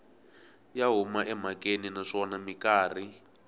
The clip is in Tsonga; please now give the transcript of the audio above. ya huma emhakeni naswona mikarhi